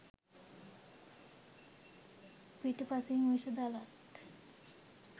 පිටුපසින් විෂ දලත්